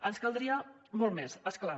ens caldria molt més és clar